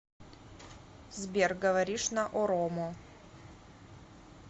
сбер говоришь на оромо